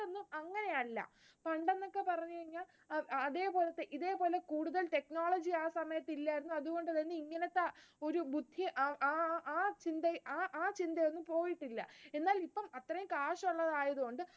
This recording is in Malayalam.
അങ്ങനെയല്ല. പണ്ട് എന്നൊക്കെ പറഞ്ഞുകഴിഞ്ഞാൽ, അതേ പോലത്തെ ഇതേപോലെ കൂടുതൽ technology ആ സമയത്ത് ഇല്ലായിരുന്നു. അതുകൊണ്ടുതന്നെ ഇങ്ങനത്തെ ഒരു ബുദ്ധി ആ ആഹ് ആ ചിന്തയൊന്നും പോയിട്ടില്ല. ഇത്രയും കാശുള്ളതായതുകൊണ്ട്